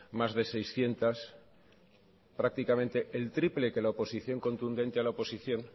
más de seiscientos prácticamente el triple que la oposición contundente a la oposición